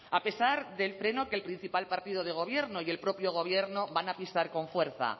a pesar del freno que el principal partido de gobierno y el propio gobierno van a pisar con fuerza